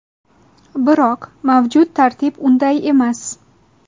Biroq mavjud tartib unday emas.